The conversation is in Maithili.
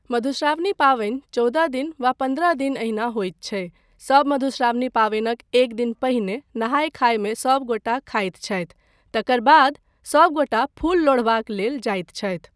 मधुश्रावणी पाबनि चौदह दिन वा पन्द्रह दिन एहिना होइत छै, सब मधुश्रावणी पाबनिक एक दिन पहिने नहाय खाय मे सब गोटा खाइत छथि तकर बाद सब गोटा फुल लोढ़बाक लेल जाइत छथि।